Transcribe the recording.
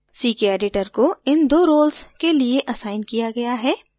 ckeditor को इन 2 roles के लिए असाइन किया गया है